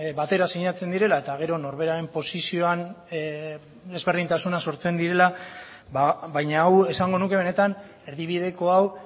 batera sinatzen direla eta gero norberaren posizioan desberdintasunak sortzen direla baina hau esango nuke benetan erdibideko hau